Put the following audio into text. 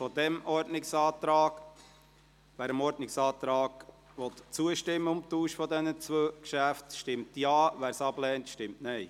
Wer dem Ordnungsantrag auf Tausch dieser zwei Geschäfte zustimmen will, stimmt Ja, wer dies ablehnt, stimmt Nein.